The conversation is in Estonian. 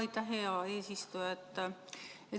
Aitäh, hea eesistuja!